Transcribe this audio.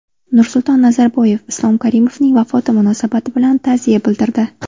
Nursulton Nazarboyev Islom Karimovning vafoti munosabati bilan ta’ziya bildirdi.